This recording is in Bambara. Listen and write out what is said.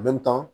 A bɛ tan